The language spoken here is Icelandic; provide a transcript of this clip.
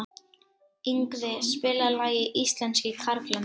Yngvi, spilaðu lagið „Íslenskir karlmenn“.